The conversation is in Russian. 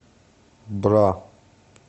бра